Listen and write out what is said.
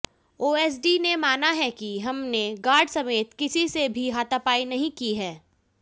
OSD ने माना है कि हमने गार्ड समेत किसी से भी हाथापाई नहीं की है